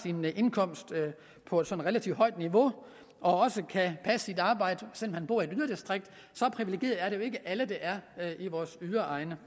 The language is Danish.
en indkomst på et sådan relativt højt niveau og også kan passe sit arbejde selv om han bor i et yderdistrikt så privilegeret er det jo ikke alle der er i vores yderegne